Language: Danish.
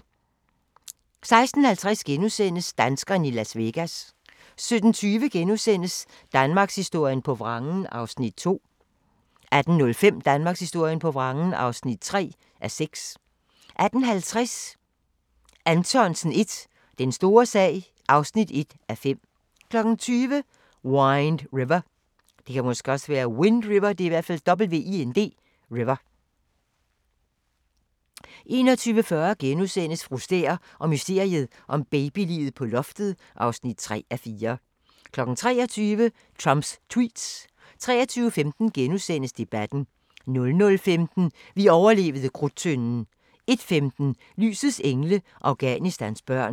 16:50: Danskerne i Las Vegas * 17:20: Danmarkshistorien på vrangen (2:6)* 18:05: Danmarkshistorien på vrangen (3:6)* 18:50: Anthonsen I – Den store sag (1:5) 20:00: Wind River 21:40: Fru Stæhr og mysteriet om babyliget på loftet (3:4)* 23:00: Trumps tweets 23:15: Debatten * 00:15: Vi overlevede Krudttønden 01:15: Lysets Engle – Afghanistans børn